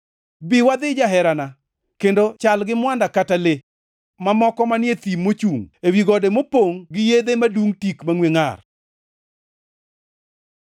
Bi wadhi, jaherana, kendo chal gi mwanda kata le, mamoko manie thim mochungʼ ewi gode mopongʼ gi yedhe madungʼ tik mangʼwe ngʼar.